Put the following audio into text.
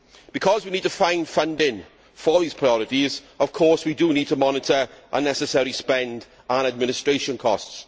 Because we need to find funding for these priorities, we need, of course, to monitor unnecessary spending and administration costs.